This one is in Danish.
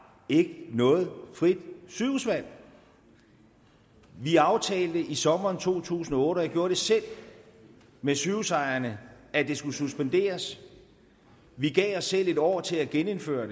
ikke noget frit sygehusvalg vi aftalte i sommeren to tusind og otte og jeg gjorde det selv med sygehusejerne at det skulle suspenderes vi gav os selv et år til at genindføre